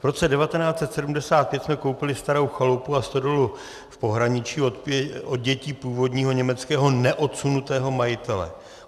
V roce 1975 jsme koupili starou chalupu a stodolu v pohraničí od dětí původního německého neodsunutého majitele.